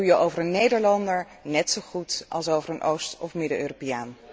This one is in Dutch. En dat doe je over een Nederlander net zo goed als over een Oost of Midden Europeaan.